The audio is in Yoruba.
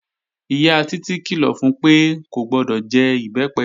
Ìyá Títí kìlọ̀ fun pé kò gbọdọ̀ jẹ Ìbẹ́pẹ